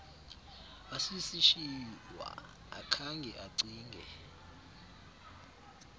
asisishiywa akhange acinge